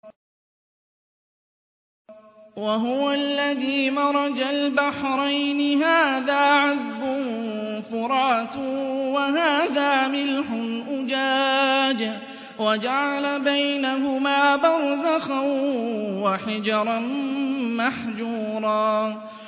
۞ وَهُوَ الَّذِي مَرَجَ الْبَحْرَيْنِ هَٰذَا عَذْبٌ فُرَاتٌ وَهَٰذَا مِلْحٌ أُجَاجٌ وَجَعَلَ بَيْنَهُمَا بَرْزَخًا وَحِجْرًا مَّحْجُورًا